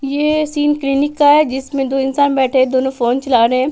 ये scene clinic का है जिसमें दो इंसान बैठे हैं दोनों फोन चला रहे हैं।